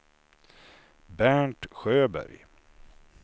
Bernt Sjöberg